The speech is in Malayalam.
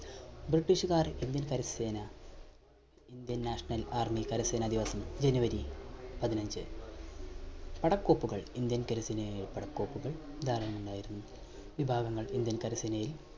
British കാർ ഇന്ത്യൻ കരസേന Indian National Army കരസേനാ ദിവസം january പതിനഞ്ച് പടക്കോപ്പുകൾ ഇന്ത്യൻ കരസേനയായ പടക്കോപ്പുകൾ ധാരാളമുണ്ടായിരുന്നു വിഭാഗങ്ങൾ ഇന്ത്യൻ കരസേനയിൽ